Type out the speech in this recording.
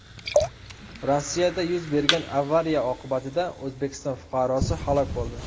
Rossiyada yuz bergan avariya oqibatida O‘zbekiston fuqarosi halok bo‘ldi.